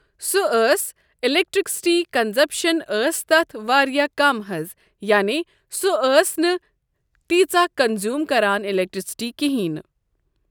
سُہ ٲسۍ electricity consumption ٲسۍ تَتھ واریاہ کَم حظ یعنے سۄ ٲسۍ نہٕ تیٖژہ کَنزوٗم کران الیکٹرسٹی کِہینۍ ۔